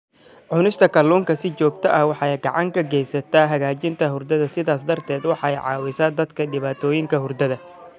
Cunista kalluunka si joogto ah waxay gacan ka geysataa hagaajinta hurdada, sidaas darteed waxay caawisaa dadka dhibaatooyinka hurdada.